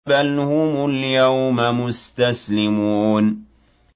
بَلْ هُمُ الْيَوْمَ مُسْتَسْلِمُونَ